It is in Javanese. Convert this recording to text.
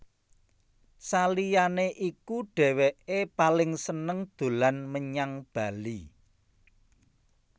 Saliyané iku dhéwéké paling seneng dolan menyang Bali